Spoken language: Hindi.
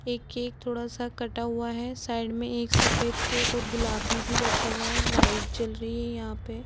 एक केक थोड़ा सा कटा हुआ है। साइड में एक सफ़ेद केक और गुलाबी भी रखा हुआ है। लाइट जल रही है यहाँ पे ।